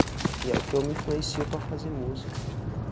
E é o que eu me influencio para fazer música.